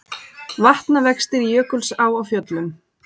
Vatnavextir í Jökulsá á Fjöllum